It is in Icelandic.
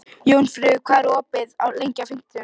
Jónfríður, hvað er opið lengi á fimmtudaginn?